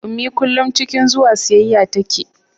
ummi kullum cikin zuwa siyayya tace